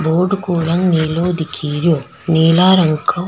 board को रंग नीलो दिख रियो नीला रंग का --